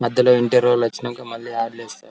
మధ్యలో ఇంటర్వ్యూ వాళ్ళు వచ్చినాక మల్లి